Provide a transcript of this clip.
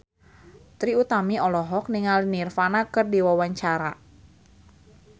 Trie Utami olohok ningali Nirvana keur diwawancara